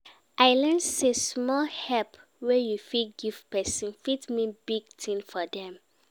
I learn sey small help wey you give person, fit mean big tin for dem.